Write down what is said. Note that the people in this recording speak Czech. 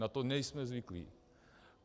Na to nejsme zvyklí.